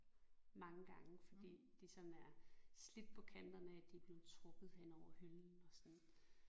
Mange gange fordi de sådan er slidt på kanterne af at de er blevet trukket henover hylden og sådan